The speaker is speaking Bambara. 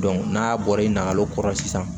n'a bɔra i nakalo kɔrɔ sisan